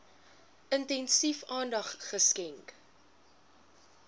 intensief aandag geskenk